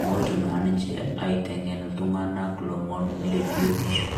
meotu naa ninche aitamok iltung'ana lomon le biotisho.